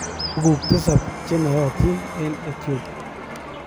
Tuguk tisab che nayootin en Ethiopia